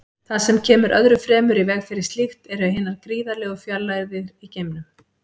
Það sem kemur öðru fremur í veg fyrir slíkt eru hinar gríðarlegu fjarlægðir í geimnum.